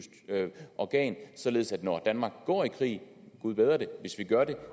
organ således at når danmark går i krig gud bedre det hvis vi gør det